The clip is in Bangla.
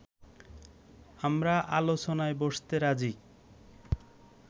আমরা আলোচনায় বসতে রাজী